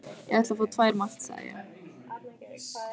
Ég ætla að fá tvær malt, sagði ég.